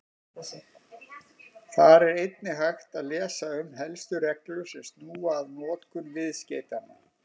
Þar er einnig hægt að lesa um helstu reglur sem snúa að notkun viðskeytanna.